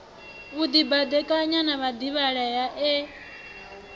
u dibadekanya na vhadivhalea e